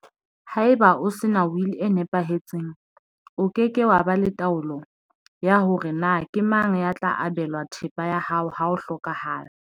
Haeba o sena wili e nepahetseng, o ke ke wa ba le taolo ya hore na ke mang ya tla abelwa thepa ya hao ha o hlokaha la.